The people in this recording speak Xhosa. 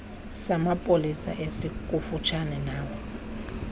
samapolisa esikufutshane nawe